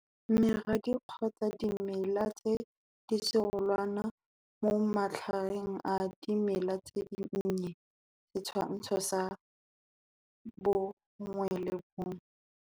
Meradi kgotsa dimela tse diserolwane mo matlhareng a dimela tse dinnye, Setshwantsho sa 11.